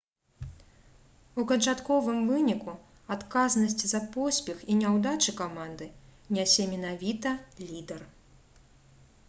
у канчатковым выніку адказнасць за поспех і няўдачы каманды нясе менавіта лідар